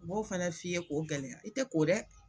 U b'o fana f'i ye k'o gɛlɛya i tɛ ko dɛ.